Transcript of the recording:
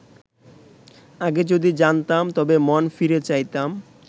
আগে যদি জানতাম তবে মন ফিরে চাইতাম